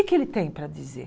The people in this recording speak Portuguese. O que é que ele tem para dizer?